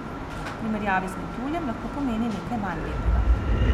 V primerjavi z metuljem lahko pomeni nekaj manj lepega.